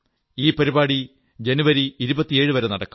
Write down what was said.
ഈ പരിപാടി ജനുവരി 27വരെ നടക്കും